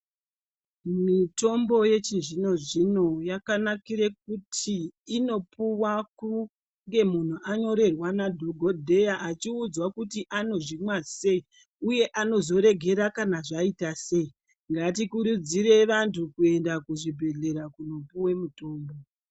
Mutimbo yechizvino zvino yakanakira kuti inopuwa kunge munhu anyorerwa nadhokodheya achiudzwa kuti ano zvimwa sei? Uye anozoregera kana zvaita sei? Ngatikurudzire vantu kuenda kuzvibhendleya kunopuwa mutombo.